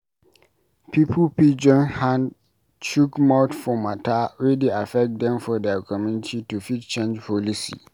Pipo fit join hand chook mouth for mata wey dey affect dem for their community to fit change policy